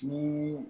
Ni